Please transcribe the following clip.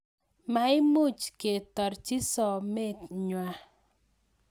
Maimuuch ketorchii sometnwaa